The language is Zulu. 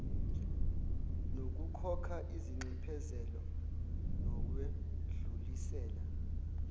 nokukhokha izinxephezelo nokwedlulisela